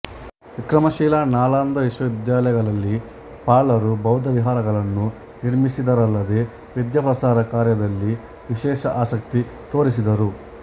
ವಿಕ್ರಮಶಿಲಾ ನಾಲಂದ ವಿಶ್ವವಿದ್ಯಾಲಯಗಳಲ್ಲಿ ಪಾಲರು ಬೌದ್ಧ ವಿಹಾರಗಳನ್ನು ನಿರ್ಮಿಸಿದರಲ್ಲದೆ ವಿದ್ಯಾ ಪ್ರಸಾರ ಕಾರ್ಯದಲ್ಲಿ ವಿಶೇಷ ಆಸಕ್ತಿ ತೋರಿಸಿದರು